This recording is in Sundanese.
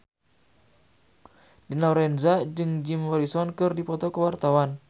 Dina Lorenza jeung Jim Morrison keur dipoto ku wartawan